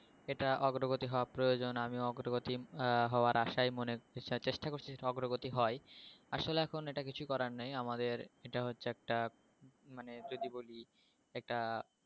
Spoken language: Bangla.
এটা অগ্রগতি হওয়া প্রয়োজন আমি অগ্রগতি আহ হওয়ার আশায় মনে চেষ্টা করেছি যাতে অগ্রগতি হয় আসলে এখন এটা কিছু করার নেই আমাদের এটা হচ্ছে একটা মানে যদি বলি এটা